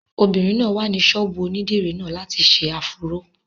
Obìnrin náà wà ní ọ̀dọ̀ ṣọ́ọ̀bù onídìrí náà láti ṣe áfúró